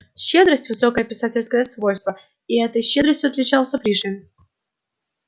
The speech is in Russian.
щедрость высокое писательское свойство и этой щедростью отличался пришвин